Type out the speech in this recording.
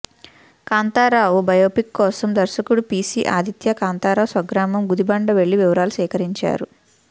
Kantharao biopic కోసం దర్శకుడు P C Aditya Kantharao స్వగ్రామం గుదిబండ వెళ్లి వివరాలు సేకరించారు